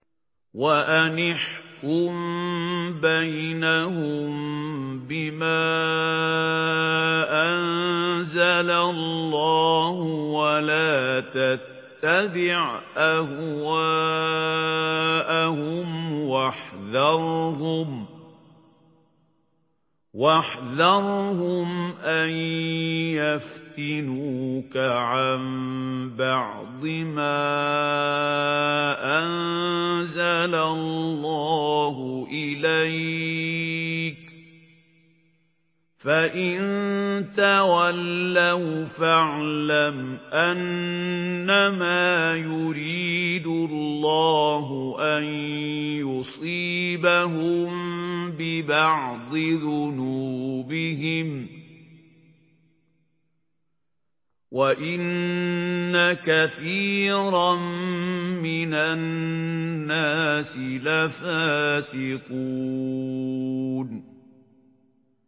وَأَنِ احْكُم بَيْنَهُم بِمَا أَنزَلَ اللَّهُ وَلَا تَتَّبِعْ أَهْوَاءَهُمْ وَاحْذَرْهُمْ أَن يَفْتِنُوكَ عَن بَعْضِ مَا أَنزَلَ اللَّهُ إِلَيْكَ ۖ فَإِن تَوَلَّوْا فَاعْلَمْ أَنَّمَا يُرِيدُ اللَّهُ أَن يُصِيبَهُم بِبَعْضِ ذُنُوبِهِمْ ۗ وَإِنَّ كَثِيرًا مِّنَ النَّاسِ لَفَاسِقُونَ